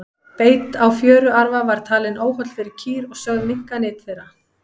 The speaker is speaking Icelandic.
beit á fjöruarfa var talinn óholl fyrir kýr og sögð minnka nyt þeirra